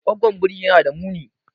Goggon biri yana da muni.